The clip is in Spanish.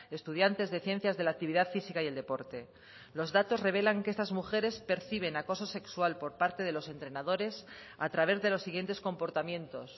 estudiantes de ciencias de la actividad física y el deporte los datos revelan que estas mujeres perciben acoso sexual por parte de los entrenadores a través de los siguientes comportamientos